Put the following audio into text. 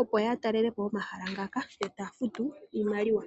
opo yatalele po omahala ngaka e taya futu iimaliwa.